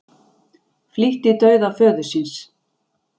Flýtti dauða föður síns